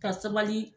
Ka sabali